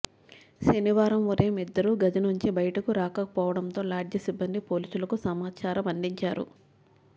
శనివారం ఉదయం ఇద్దరూ గదినుంచి బయటకురాకపోవడంతో లాడ్జి సిబ్బంది పోలీసులకు సమాచారమందించారు